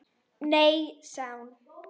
Nei sagði hún.